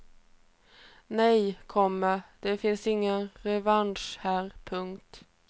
Nej, komma det finns inga revanscher här. punkt